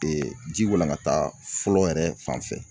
ji walankata fɔlɔ yɛrɛ fan fɛ